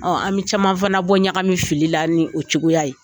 Ɔn an caman fana bɔ ɲagami fili la ni o cogoya ye.